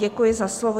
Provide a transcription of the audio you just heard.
Děkuji za slovo.